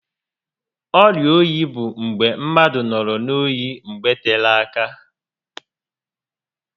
Ọrịa oyi bụ mgbe mmadụ nọrọ n'oyi mgbe tere áká